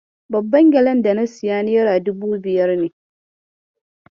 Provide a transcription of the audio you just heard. Babban gyalen da na siya nera dubu biyar ne.